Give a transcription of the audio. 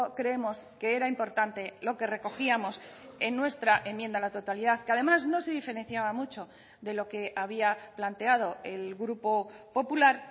creemos que era importante lo que recogíamos en nuestra enmienda a la totalidad que además no se diferenciaba mucho de lo que había planteado el grupo popular